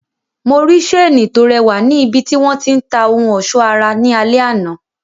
Mo rí seeni to rẹwà ni ibiti wọn ti ń ta ohun ọsọ ara ní alẹ àná.